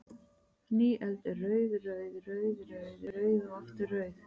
Ný öld er rauð, rauð, rauð, rauð, rauð og aftur rauð?